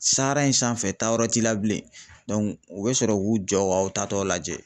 in sanfɛ tayɔrɔ t'i la bilen. u be sɔrɔ k'u jɔ k'aw taatɔ lajɛ.